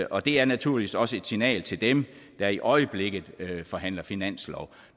og det er naturligvis også et signal til dem der i øjeblikket forhandler finanslov